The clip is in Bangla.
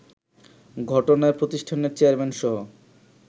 ঘটনায় প্রতিষ্ঠানের চেয়ারম্যানসহ